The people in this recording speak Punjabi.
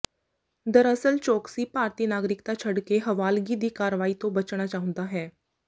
ਦਰਅਸਲ ਚੌਕਸੀ ਭਾਰਤੀ ਨਾਗਰਿਕਤਾ ਛੱਡ ਕੇ ਹਵਾਲਗੀ ਦੀ ਕਾਰਵਾਈ ਤੋਂ ਬਚਣਾ ਚਾਹੁੰਦਾ ਹੈ